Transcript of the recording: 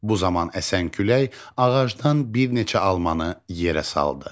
Bu zaman əsən külək ağacdan bir neçə almanı yerə saldı.